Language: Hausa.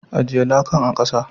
Ajie lakan a'kasa.